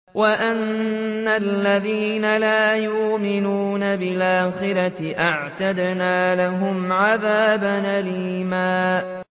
وَأَنَّ الَّذِينَ لَا يُؤْمِنُونَ بِالْآخِرَةِ أَعْتَدْنَا لَهُمْ عَذَابًا أَلِيمًا